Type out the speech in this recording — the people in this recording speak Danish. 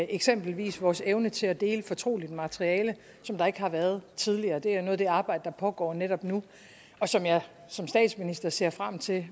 eksempelvis vores evne til at dele fortroligt materiale som der ikke har været tidligere det er noget af det arbejde der pågår netop nu og som jeg som statsminister ser frem til